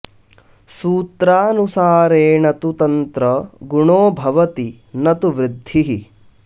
सूत्रानुसारेण तु तंत्र गुणो भवति न तु वृद्धिः